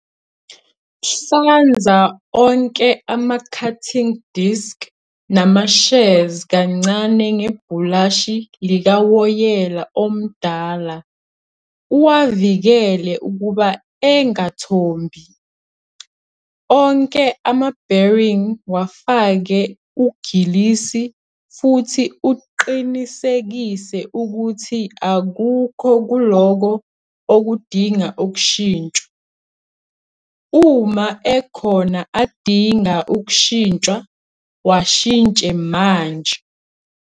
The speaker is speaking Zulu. Hlanza onke ama-cutting disc nama-shears kancane ngebhulashi likawoyela omdala uwavikele ukuba engathombi. Onke ama-bearing wafake ugilisi futhi uqinisekise ukuthi akukho kulokho okudinga ukushintshwa. Uma ekhona adinga ukushintshwa, washintshe manje.